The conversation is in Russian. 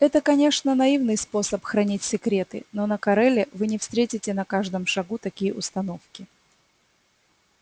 это конечно наивный способ хранить секреты но на кореле вы не встретите на каждом шагу такие установки